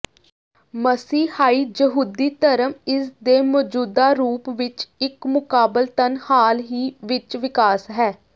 ਮਸੀਹਾਈ ਯਹੂਦੀ ਧਰਮ ਇਸਦੇ ਮੌਜੂਦਾ ਰੂਪ ਵਿੱਚ ਇੱਕ ਮੁਕਾਬਲਤਨ ਹਾਲ ਹੀ ਵਿੱਚ ਵਿਕਾਸ ਹੈ